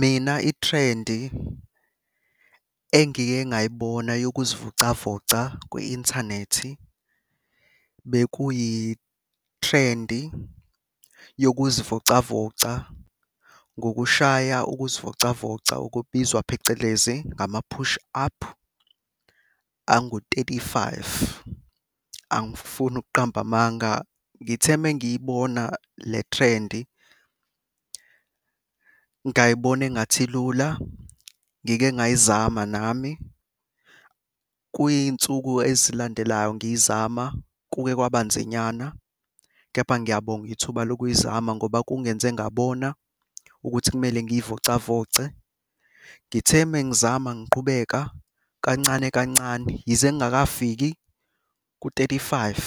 Mina ithrendi engike ngayibona yokuzivocavoca kwi-inthanethi, bekuyithrendi yokuzivocavoca ngokushaya ukuzivocavoca okubizwa phecelezi ngama-push up angu-thirty-five. Angifuni ukuqamba amanga ngithe uma ngiyibona le threndi, ngayibona engathi ilula, ngike ngayizama nami. Kuy'nsuku ezilandelayo ngiyizama kuke kwaba nzinyana kepha ngiyabonga ithuba lokuyizama ngoba kungenze ngabona ukuthi kumele ngiy'vocavoce. Ngithe uma ngizama ngiqhubeka kancane kancane, yize ngingakafiki ku-thirty-five